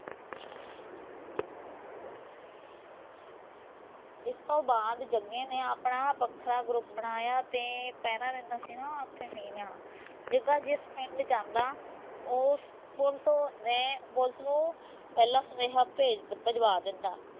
ਇਸ ਤੋਂ ਬਾਅਦ ਜਗੇ ਨੇ ਆਪਣਾ ਵੱਖਰਾ group ਬਣਾਇਆ ਤੇ ਪਹਿਰਾ ਦਿੰਦਾ ਸੀਗਾ ਨਾ ਓਥੇ ਸੀ ਮੈਂ ਜਗਾ ਜਿਸ ਪਿੰਡ ਜਾਂਦਾ ਉਹ ਪੁਲਿਸ ਨੂੰ ਪਹਿਲਾਂ ਸਨੇਹਾ ਭੇਜ ਭਿਜਵਾ ਦਿੰਦਾ।